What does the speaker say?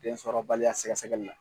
Den sɔrɔbaliya sɛgɛsɛgɛli la .